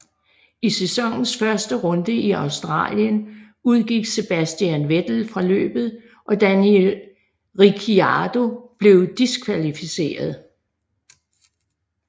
I sæsonens første runde i Australien udgik Sebastian Vettel fra løbet og Daniel Ricciardo blev diskvalificeret